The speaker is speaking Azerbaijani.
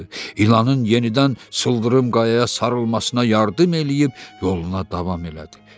İlanın yenidən sıldırım qayaya sarılmasına yardım eləyib yoluna davam elədi.